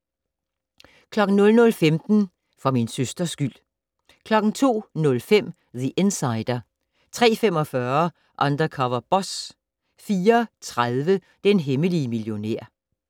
00:15: For min søsters skyld 02:05: The Insider 03:45: Undercover Boss 04:30: Den hemmelige millionær